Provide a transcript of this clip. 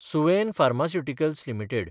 Suven pharmaceuticals limited